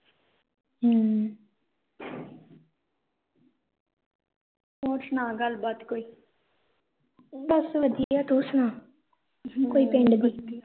ਬਸ ਵਧੀਆ ਤੂੰ ਸੁਣਾ ਕੋਈ ਪਿੰਡ ਦੀ